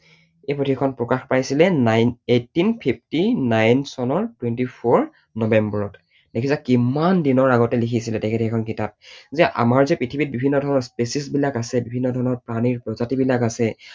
এই পুথিখন প্ৰকাশ পাইছিলে eighteen fifty-nine চনৰ twenty-four নৱেম্বৰত। দেখিছা কিমান দিনৰ আগতে লিখিছিলে তেখেতে সেইখন কিতাপ! যে আমাৰ যে পৃথিৱীত বিভিন্নধৰণৰ species বিলাক আছে বিভিন্ন ধৰণৰ প্ৰাণীৰ প্ৰজাতি বিলাক আছে